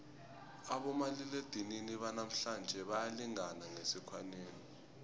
abomaliledinini banamhlanje bayalingana ngesikhwanyeni